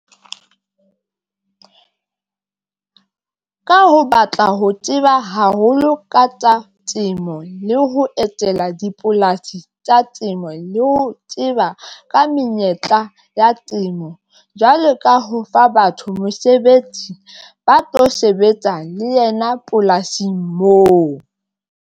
Ka ho batla ho tseba haholo ka tsa temo, le ho etela dipolasi tsa temo, le ho ho tseba ka menyetla ya temo jwalo ka ho fa batho mosebetsi ba tlo sebetsa le yena polasing moo.